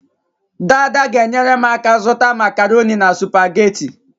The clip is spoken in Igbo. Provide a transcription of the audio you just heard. Daada g'enyere m aka zuta macaroni na supamaketi